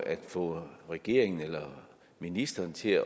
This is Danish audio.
at få regeringen eller ministeren til